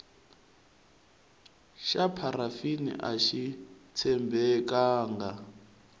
xa pharafini axi tshembekanga